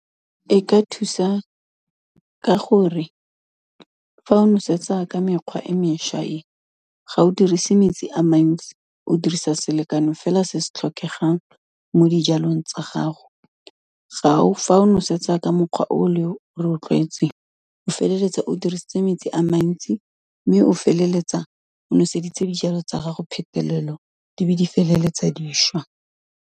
E ka thusa ka gore, fa o nosetsa ka mekgwa e mešwa e, ga o dirise metsi a mantsi, o dirisa selekano fela se se tlhokegang mo dijalong tsa gago. Gao, fa o nosetsa ka mokgwa o le o re o tlwaetseng, o feleletsa o dirisitse metsi a mantsi mme o feleletsa o noseditse dijalo tsa gago phetelelo, di be di feleletsa dišwa.